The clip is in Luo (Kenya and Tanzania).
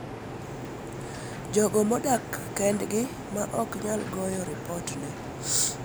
jogo ma odak kendgi ma ok nyal goyo ripot ne